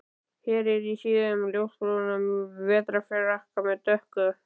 Ég er í síðum ljósbrúnum vetrarfrakka með dökk